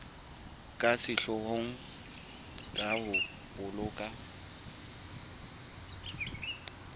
ka sehloohong ke ho boloka